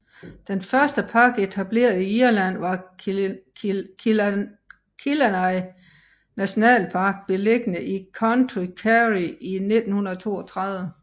Den første park etableret i Irland var Killarney Nationalpark beliggende i County Kerry i 1932